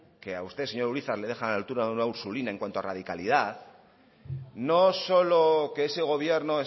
que a usted señor urizar le dejan a la altura de una ursulina en cuanto a radicalidad no solo que ese gobierno